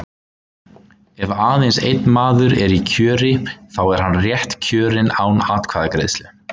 Ef aðeins einn maður er í kjöri, þá er hann rétt kjörinn án atkvæðagreiðslu.